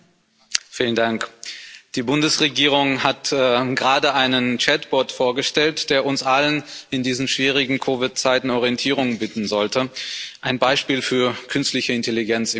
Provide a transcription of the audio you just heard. Frau Präsidentin! Die Bundesregierung hat gerade einen Chat-Bot vorgestellt, der uns allen in diesen schwierigen Covid-Zeiten Orientierung bieten sollte ein Beispiel für künstliche Intelligenz im Kleinen.